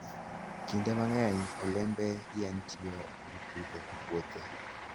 Kinde mang'eny, olembe yien itiyogo e pidho puothe.